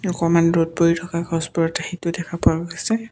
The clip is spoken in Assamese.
অকণমান ৰ'দ পৰি থকা দেখা পোৱা গৈছে।